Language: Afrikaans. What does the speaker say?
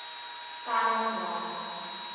telling daal